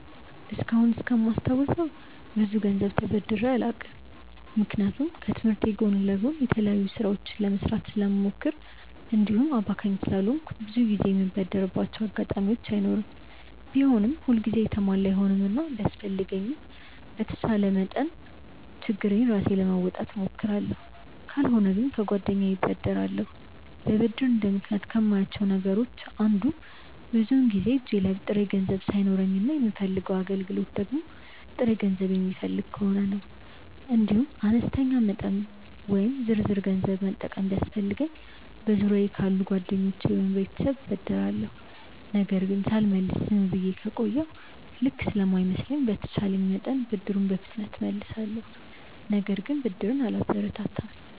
እስካሁን እስከማስታውሰው ብዙ ገንዘብ ተበድሬ አላውቅም። ምክንያቱም ከትምህርቴ ጎን ለጎን የተለያዩ ስራዎችን ለመስራት ስለምሞክር እንዲሁም አባካኝ ስላልሆንኩ ብዙ ጊዜ የምበደርባቸው አጋጣሚዎች አይኖሩም። ቢሆንም ሁል ጊዜ የተሟላ አይሆንምና ቢያስፈልገኝም በተቻለኝ መጠን ችግሬን ራሴ ለመወጣት እሞክራለሁ። ካልሆነ ግን ከጓደኛዬ እበደራለሁ። ለብድር እንደ ምክንያት ከማያቸው ነገሮች አንዱ ብዙውን ጊዜ እጄ ላይ ጥሬ ገንዘብ ሳይኖረኝ እና የምፈልገው አገልግሎት ደግሞ ጥሬ ገንዘብ የሚፈልግ ከሆነ ነው። እንዲሁም አነስተኛ መጠን ወይም ዝርዝር ገንዘብ መጠቀም ቢያስፈልገኝ በዙሪያየ ካሉ ጓደኞቼ ወይም ቤተሰብ እበደራለሁ። ነገር ግን ሳልመልስ ዝም ብዬ ከቆየሁ ልክ ስለማይመስለኝ በተቼለኝ መጠን ብድሩን በፍጥነት እመልሳለሁ። ነገር ግን ብድርን አላበረታታም።